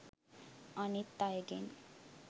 අනිත් අයගෙන්